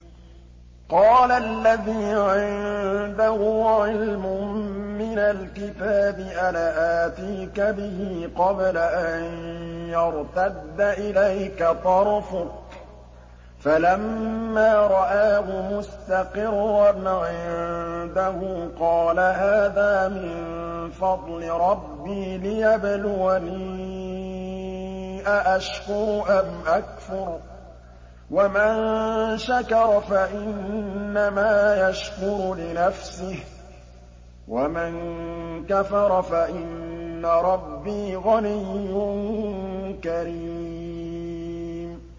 قَالَ الَّذِي عِندَهُ عِلْمٌ مِّنَ الْكِتَابِ أَنَا آتِيكَ بِهِ قَبْلَ أَن يَرْتَدَّ إِلَيْكَ طَرْفُكَ ۚ فَلَمَّا رَآهُ مُسْتَقِرًّا عِندَهُ قَالَ هَٰذَا مِن فَضْلِ رَبِّي لِيَبْلُوَنِي أَأَشْكُرُ أَمْ أَكْفُرُ ۖ وَمَن شَكَرَ فَإِنَّمَا يَشْكُرُ لِنَفْسِهِ ۖ وَمَن كَفَرَ فَإِنَّ رَبِّي غَنِيٌّ كَرِيمٌ